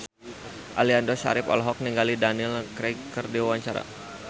Aliando Syarif olohok ningali Daniel Craig keur diwawancara